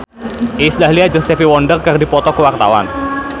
Iis Dahlia jeung Stevie Wonder keur dipoto ku wartawan